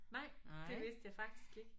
Nej det vidste jeg faktisk ikke